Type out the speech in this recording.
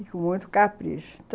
e com muito capricho.